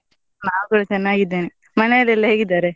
ನಾವ್ ಕೂಡ ಚೆನ್ನಾಗಿದ್ದೇನೆ, ಮನೇಲೆಲ್ಲಾ ಹೇಗಿದ್ದಾರೆ?